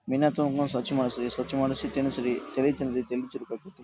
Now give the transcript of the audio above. ಮೀನಾ ತೊಕೊಂಡ್ ಸ್ವಚ್ಛ ಮಾಡ್ಸಿರೀ. ಸ್ವಚ್ಛ ಮಾಡ್ಸಿ ತಿನ್ನಿಸಿರಿ. ತಲಿ ತಿನ್ನರ್ರಿ ತಲಿ ಚುರುಕ್ ಆಕ್ಕೇತಿ.